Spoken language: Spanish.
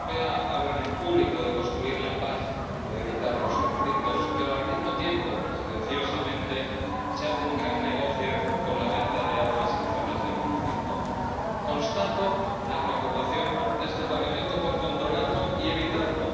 Señora Presidenta, los países de la Unión Europea hablan en público de construir la paz o de evitar los conflictos, pero al mismo tiempo, silenciosamente, se hace un gran negocio con la venta de armas en zonas de conflicto. Constato la preocupación de este Parlamento por controlarlo y evitarlo.